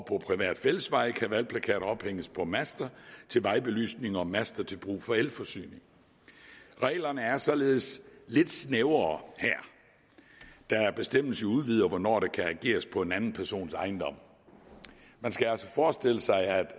på private fællesveje kan valgplakater ophænges på master til vejbelysning og master til brug for elforsyning reglerne er således lidt snævrere her da bestemmelsen udvider hvornår der kan ageres på en anden persons ejendom man skal altså forestille sig at